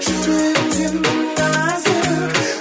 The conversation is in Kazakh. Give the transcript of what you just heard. жүрегің сенің нәзік